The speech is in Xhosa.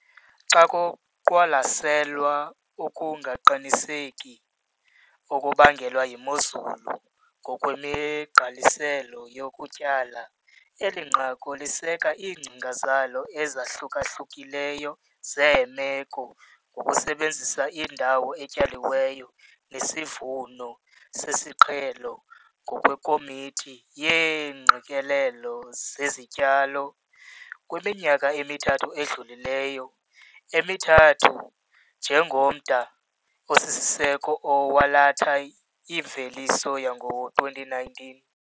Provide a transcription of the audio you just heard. Xa kuqwalaselwa ukungaqiniseki okubangelwa yimozulu ngokwemigqaliselo yokutyala, eli nqaku liseka iingcinga zalo ezahluka-hlukileyo zeemeko ngokusebenzisa indawo etyaliweyo nesivuno sesiqhelo ngokweKomiti yeeNgqikelelo zeziTyalo kwiminyaka emithathu edlulileyo emithathu njengomda osisiseko owalatha imveliso yango-2019.